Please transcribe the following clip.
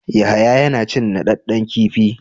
Yahaya yana cin naɗɗaden kifi.